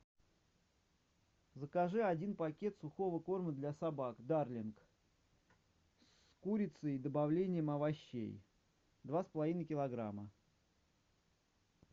закажи один пакет сухого корма для собак дарлинг с курицей и добавлением овощей два с половиной килограмма